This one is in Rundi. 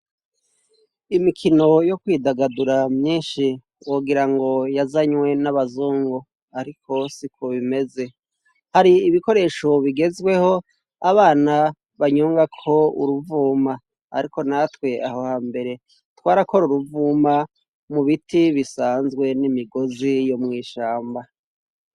Imikino yo kwidagadura myinshi wogira ngo yazanywe n'abazungu ariko siko bimeze hari ibikoresho bigezweho abana banyongako uruvuma ariko natwe aho hambere twarakora uruvuma mu biti bisanzwe n'imigozi yo mwishamba.